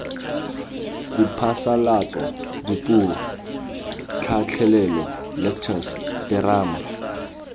diphasalatso dipuo tlhatlhelelo lectures terama